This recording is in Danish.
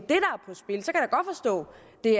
det